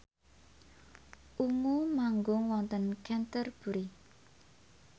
Ungu manggung wonten Canterbury